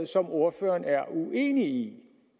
som ordføreren er uenig